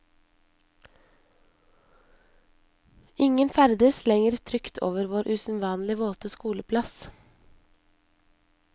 Ingen ferdes lenger trygt over vår usedvanlig våte skoleplass.